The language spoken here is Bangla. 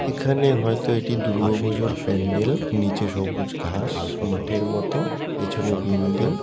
এখানে হয়তো এটি দুর্গাপূজার প্যান্ডেল নিচে সবুজ ঘাস মাঠের মতো পেছনে বিল্ডিং ।